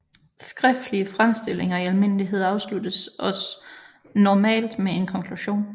Skriftlige fremstillinger i almindelighed afsluttes også normalt med en konklusion